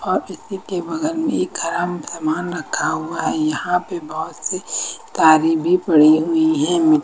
और इसी के बगल में एक खराब सामान रखा हुआ है यहां पे बहुत सी कारें भी पड़ी हुई हैं।